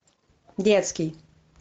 детский